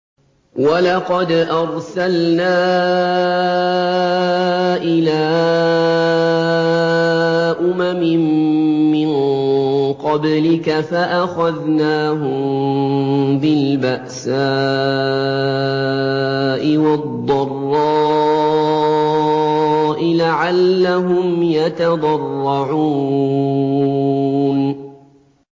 وَلَقَدْ أَرْسَلْنَا إِلَىٰ أُمَمٍ مِّن قَبْلِكَ فَأَخَذْنَاهُم بِالْبَأْسَاءِ وَالضَّرَّاءِ لَعَلَّهُمْ يَتَضَرَّعُونَ